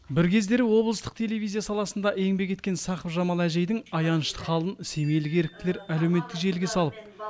бір кездері облыстық телевизия саласында еңбек еткен сақыпжамал әжейдің аянышты халін семейлік еріктілер әлеуметтік желіге салып